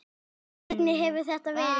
Hvernig hefur þetta verið?